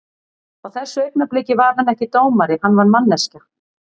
Á þessu augnabliki var hann ekki dómari, hann var manneskja.